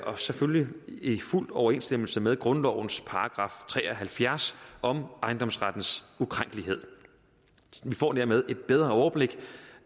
og selvfølgelig i fuld overensstemmelse med grundlovens § tre og halvfjerds om ejendomsrettens ukrænkelighed vi får dermed et bedre overblik